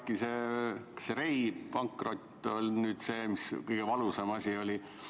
Kuidas äkki see Rey pankrot on nüüd kõige valusam asi?